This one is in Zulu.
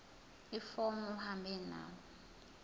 ifomu uhambe nalo